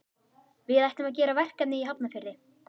Við ætlum að gera verkefni í Hafnarfirði.